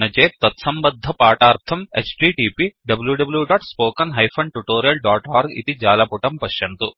न चेत् तत्सम्बद्धपाठार्थं httpwwwspoken tutorialओर्ग इति जालपुटं पश्यन्तु